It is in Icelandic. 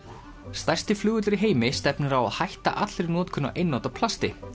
stærsti flugvöllur í heimi stefnir á að hætti allri notkun á einnota plasti